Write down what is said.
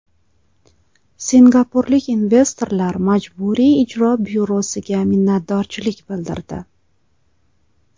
Singapurlik investorlar Majburiy ijro byurosiga minnatdorchilik bildirdi.